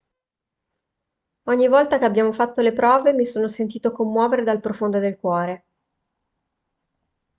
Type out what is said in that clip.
ogni volta che abbiamo fatto le prove mi sono sentito commuovere dal profondo del cuore